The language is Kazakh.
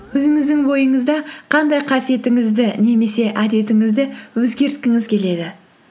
өзіңіздің бойыңызда қандай қасиетіңізді немесе әдетіңізді өзгерткіңіз келеді